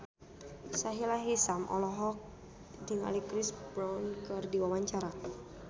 Sahila Hisyam olohok ningali Chris Brown keur diwawancara